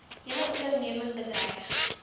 hele onderneming bedreig